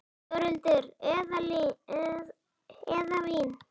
Þórhildur: Eðalvín?